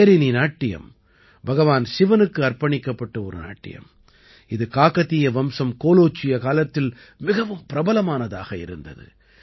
பேரினி நாட்டியம் பகவான் சிவனுக்கு அர்ப்பணிக்கப்பட்ட ஒரு நாட்டியம் இது காகதீய வம்சம் கோலோச்சிய காலத்தில் மிகவும் பிரபலமானதாக இருந்தது